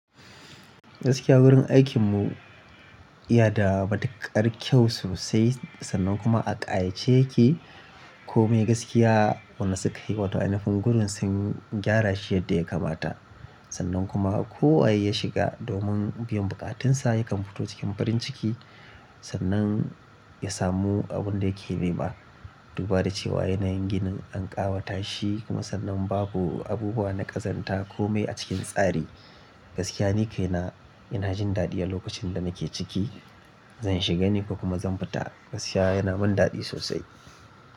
Gaskiya wurin aikin mu ya da matuƙar kyau sosai sannan kuma a ƙayace yake. Komai gaskiya, wanda sukayi wato ainihin gurin sun gyara shi yadda ya kamata. Sannan kuma ko waye ya shiga domin biyan buƙatunsa yakan fito cikin farin ciki sannan ya samu abin da yake nema. Duba da cewa yanayin ginin an ƙawata shi kuma sannan babu abubuwa na ƙazanta komai a cikin tsari. Gaskiya ni kai na ina jin daɗi a lokacin da nake ciki. Zan shiga ni kuma zan fita gaskiya yana mun daɗi sosai.